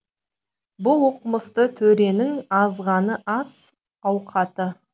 бұл оқымысты төренің азанғы ас ауқаты